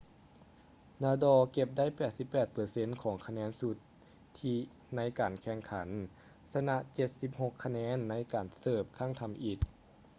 nadal ເກັບໄດ້ 88% ຂອງຄະແນນສຸດທິໃນການແຂ່ງຂັນ ຊະນະ 76 ຄະແນນໃນການເສີບຄັ້ງທຳອິດ